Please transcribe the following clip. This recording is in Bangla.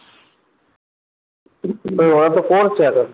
হম ওরা তো পড়ছে এখন